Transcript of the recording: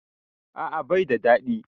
A'a bai da daɗi